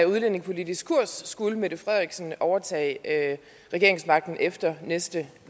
udlændingepolitiske kurs skulle mette frederiksen overtage regeringsmagten efter næste